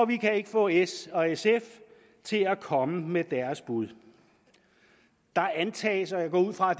kan ikke få s og sf til at komme med deres bud der antages og jeg går ud fra